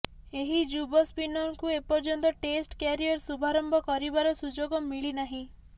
ଏହି ଯୁବ ସ୍ପିନରଙ୍କୁ ଏପର୍ଯ୍ୟନ୍ତ ଟେଷ୍ଟ କ୍ୟାରିୟର ଶୁଭାରମ୍ଭ କରିବାର ସୁଯୋଗ ମିଳିନାହିଁ